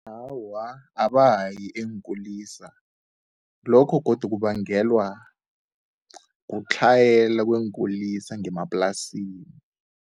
Awa, abayi eenkulisa, lokho godu kubangelwa kutlhayela kweenkulisa ngemaplasini.